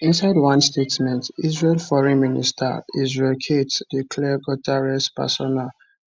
inside one statement israel foreign minister israel katz declare guterres persona